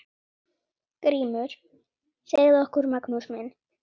GRÍMUR: Segðu okkur, Magnús minn!